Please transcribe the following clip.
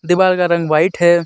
दीवाल का रंग व्हाइट है.